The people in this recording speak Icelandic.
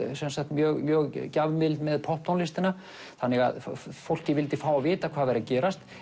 mjög mjög gjafmild með popptónlistina þannig að fólkið vildi fá að vita hvað væri að gerast